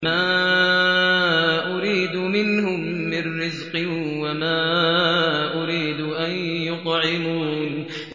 مَا أُرِيدُ مِنْهُم مِّن رِّزْقٍ وَمَا أُرِيدُ أَن يُطْعِمُونِ